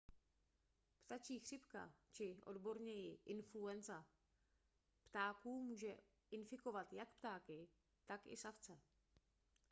ptačí chřipka či odborněji influenza ptáků může infikovat jak ptáky tak i savce